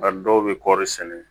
A dɔw bɛ kɔɔri sɛnɛ